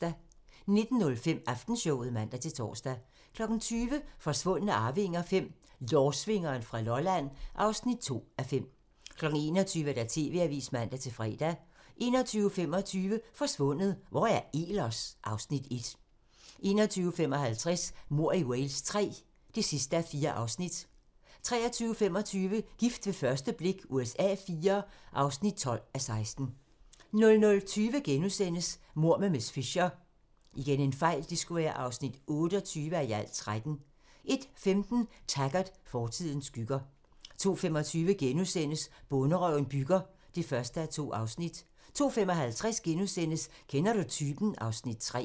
19:05: Aftenshowet (man-tor) 20:00: Forsvundne arvinger V: Lårsvingeren fra Lolland (2:5) 21:00: TV-avisen (man-fre) 21:25: Forsvundet - Hvor er Ehlers? (Afs. 1) 21:55: Mord i Wales III (4:4) 23:25: Gift ved første blik USA IV (12:16) 00:20: Mord med miss Fisher (28:13)* 01:15: Taggart: Fortidens skygger 02:25: Bonderøven bygger (1:2)* 02:55: Kender du typen? (Afs. 3)*